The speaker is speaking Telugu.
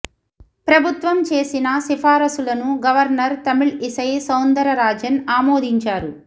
ప్రభుత్వం చేసిన సిఫారసులను governor Tamilisai Soundararajan ఆమోదించారు